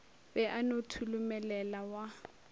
be a no tholomelela wa